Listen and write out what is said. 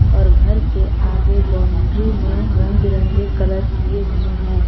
और घर के आगे बाउंड्री में रंग बिरंगे कलर किए हुए हैं।